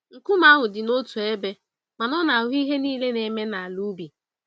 Nkume ahụ dina otú ébé, mana ọ na-ahụ ihe niile na-eme n'ala ubi.